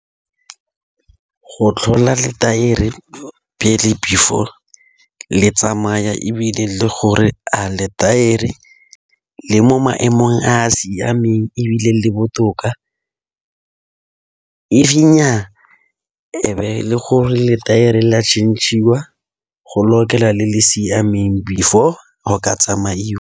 Go tlhola letaere pele before le tsamaya ebile le gore a letaere le mo maemong a a siameng ebile le botoka, if nnyaa e be le gore letaere le a tšhentšhiwa go lokela le le siameng before go ka tsamaiwa.